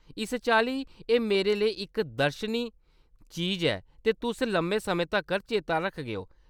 इस चाल्ली एह्‌‌ मेरे लेई इक दर्शनी चीज ऐ, ते तुस लम्मे समें तक्कर चेता रखगेओ।